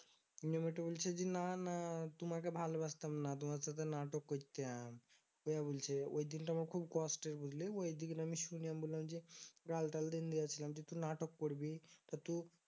নিয়ে মেয়েটা বলছে যে না না তোমাকে ভালোবাসতাম না। তোমার সাথে নাটক কইতাম অইয়া বলছে ওই দিনটাও আমার খুব কষ্টের বুঝলি ওই দিন শুনে আমি বললাম যে গাল তাল দিনদিয়াছিলাম । যে তু নাটক করবি তা তো